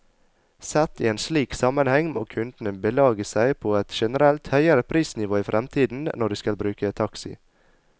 Sett i en slik sammenheng, må kundene belage seg på et generelt høyere prisnivå i fremtiden når de skal bruke taxi.